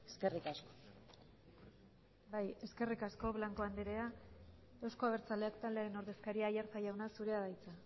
eskerrik asko bai eskerrik asko blanco andrea euzko abertzaleak taldearen ordezkaria aiartza jauna zurea da hitza